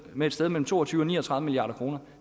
med et sted mellem to og tyve og ni og tredive milliard kr